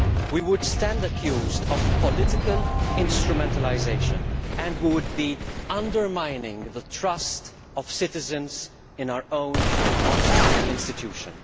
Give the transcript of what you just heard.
We would stand accused of political instrumentalisation, and we would be undermining the trust of citizens in our own institution.